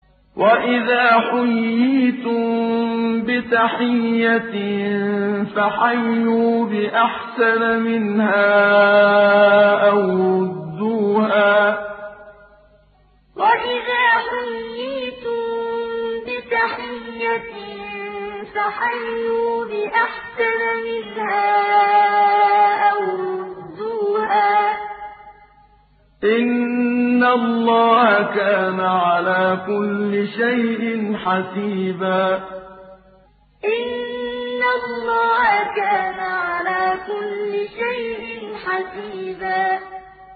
وَإِذَا حُيِّيتُم بِتَحِيَّةٍ فَحَيُّوا بِأَحْسَنَ مِنْهَا أَوْ رُدُّوهَا ۗ إِنَّ اللَّهَ كَانَ عَلَىٰ كُلِّ شَيْءٍ حَسِيبًا وَإِذَا حُيِّيتُم بِتَحِيَّةٍ فَحَيُّوا بِأَحْسَنَ مِنْهَا أَوْ رُدُّوهَا ۗ إِنَّ اللَّهَ كَانَ عَلَىٰ كُلِّ شَيْءٍ حَسِيبًا